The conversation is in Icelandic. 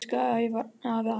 Elsku afi Ævar.